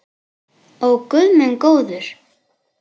Ó guð minn góður.